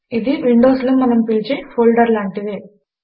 ఇది విండోస్ లో మనము పిలిచే ఫోల్డర్ లాంటిదే